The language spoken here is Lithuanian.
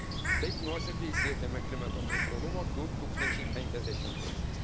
Taip nuosekliai siekiame klimato neutralumo 2050 aisiais.